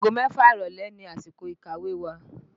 Ago mẹ́fà ìrọ̀lẹ́ ni àsìkò ìkàwé wa